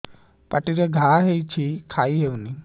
ପାଟିରେ ଘା ହେଇଛି ଖାଇ ହଉନି